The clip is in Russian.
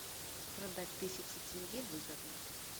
продать тысячу тенге выгодно